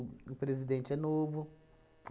O o presidente é novo.